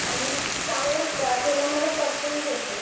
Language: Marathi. आणि चांगलं असं तेलामध्ये परतून घे ते.